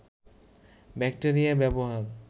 bacteria ব্যবহার